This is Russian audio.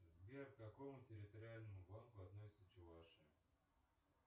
сбер к какому территориальному банку относится чувашия